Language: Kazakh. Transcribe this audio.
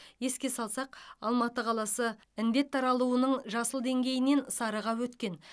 еске салсақ алматы қаласы індет таралуының жасыл деңгейінен сарыға өткен